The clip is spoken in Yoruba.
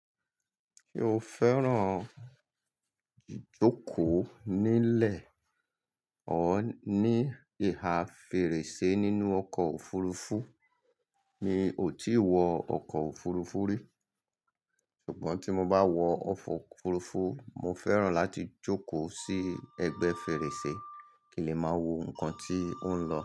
Se o fẹ́ràn jókòó nílẹ̀ or ní ìhà fèrèsé nínú ọkọ̀ òfurufú. Mi ò tí ì wọ ọkọ̀ òfurufú rí. Ṣùgbọ́n tí mo bá wọ ọkọ òfurufú, mo fẹ́ràn láti jókòó sí ẹ̀gbẹ́ fèrèsé, ki n le máa wo ǹkan tí ó ń lọ.